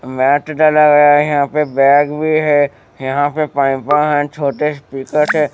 Mat डाला गया है यहां पे बैग भी है यहां पे छोटे ।